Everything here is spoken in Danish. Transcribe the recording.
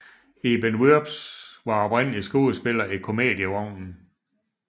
Iben Wurbs var oprindelig skuespiller i Komedievognen